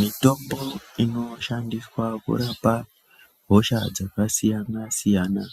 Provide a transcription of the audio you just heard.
Mitombo inoshandiswa kurapa hosha dzakasiyana siyana